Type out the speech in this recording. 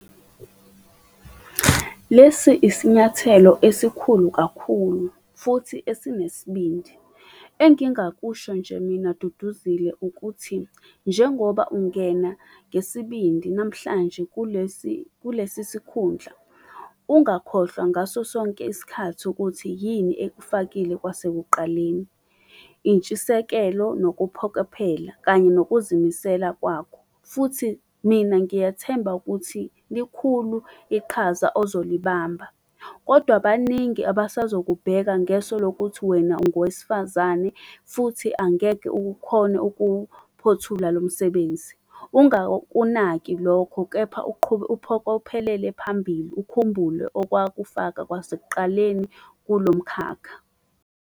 Lesi isinyathelo esikhulu kakhulu futhi esinesibindi. Engingakusho nje mina Duduzile ukuthi, njengoba ungena ngesibindi namhlanje kulesi kulesi sikhundla ungakhohlwa ngaso sonke isikhathi ukuthi yini ekufakile kwasekuqaleni, intshisekelo, nokuphokophela kanye nokuzimisela kwakho. Futhi mina ngiyathemba ukuthi likhulu iqhaza ozolibamba, kodwa baningi abasazokubheka ngeso lokuthi wena ungowesifazane, futhi angeke ukukhone ukuphothula lo msebenzi. Ungakunaki lokho kepha uphokophelele phambili ukhumbule okwakufaka kwasekuqaleni kulo mkhakha.